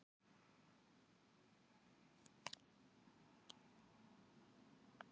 ekki er nema um það bil ár síðan fyrstu tilfelli kúariðu greindust þar